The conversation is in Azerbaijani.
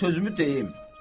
Qoy sözümü deyim.